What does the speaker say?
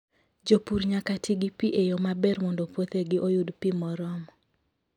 Jopur nyaka ti gi pi e yo maber mondo puothegi oyud pi moromo.